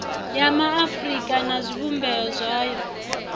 ya maafurika na zwivhumbeo zwayo